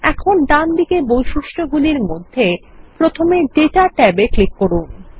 এখন ডানদিকে বৈশিষ্ট্য গুলির মধ্যে প্রথমেডেটা ট্যাবেক্লিক করুন